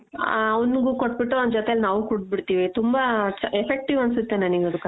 ಆ ಅವ್ನುಗು ಕೊಟ್ಟ್ ಬಿಟ್ಟು ಅವ್ನ್ ಜೊತೇಲಿ ನಾವು ಕುಡ್ದು ಬಿಡ್ತೀವಿ ತುಂಬಾ effective ಅನ್ಸುತ್ತೆ ನನಿಗದು ಕಷಾಯ.